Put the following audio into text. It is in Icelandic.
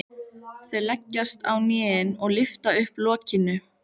Þau leggjast á hnén og lyfta upp lokinu.